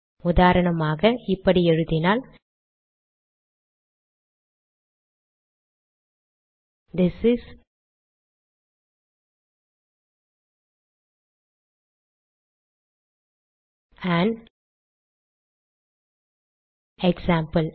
உதாரணமாக இப்படி எழுதினால் திஸ் இஸ் ஆன் எக்ஸாம்பிள்